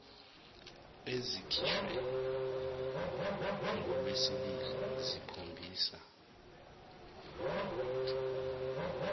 ezikhishwe ngolwesibili zikhombisa